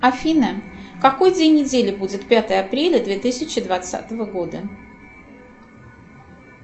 афина какой день недели будет пятое апреля две тысячи двадцатого года